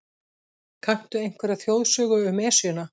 Kanntu einhverja þjóðsögu um Esjuna?